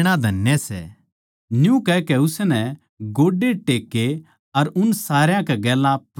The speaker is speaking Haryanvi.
न्यू कहकै उसनै गोड्डे टेक्के अर उन सारया कै गेल्या प्रार्थना करी